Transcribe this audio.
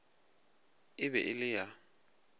e be e le ya